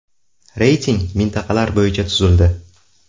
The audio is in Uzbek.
Reyting mintaqalar bo‘yicha tuzildi.